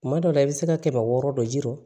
Kuma dɔ la i bɛ se ka kɛmɛ wɔɔrɔ dɔ jir'o